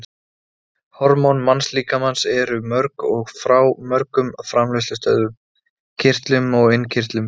Hormón mannslíkamans eru mörg og frá mörgum framleiðslustöðvum, kirtlum og innkirtlum.